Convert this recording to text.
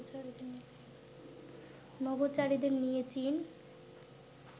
নভোচারীদের নিয়ে চীন